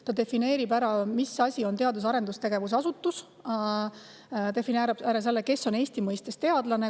See defineerib, mis asi on teadus‑ ja arendustegevuse asutus, defineerib, kes on Eesti mõistes teadlane.